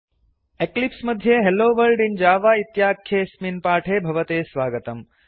eclipse मध्ये hello world in Java इत्याख्ये अस्मिन् पाठे भवते स्वागतम्